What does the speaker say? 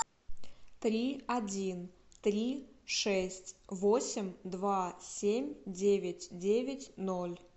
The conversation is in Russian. три один три шесть восемь два семь девять девять ноль